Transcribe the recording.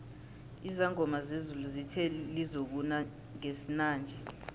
izangoma zezulu zithe lizokuna ngesinanje